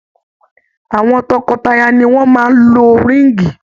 Awọn tọkọtaya ni wọn maa n lo ríìngì.